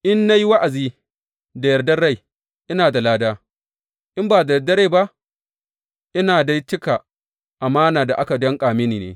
In na yi wa’azi da yardar rai, ina da lada; in ba da yardar rai ba, ina dai cika amana da aka danƙa mini ne.